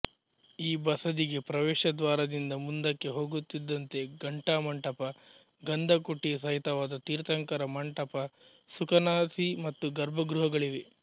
ಈ ಬಸದಿಗೆ ಪ್ರವೇಶ ದ್ವಾರದಿಂದ ಮುಂದಕ್ಕೆ ಹೋಗುತ್ತಿದ್ದಂತೆ ಘಂಟಾ ಮಂಟಪ ಗಂಧಕುಟಿ ಸಹಿತವಾದ ತೀರ್ಥಂಕರ ಮಂಟಪ ಸುಕನಾಸಿ ಮತ್ತು ಗರ್ಭಗೃಹಗಳಿವೆ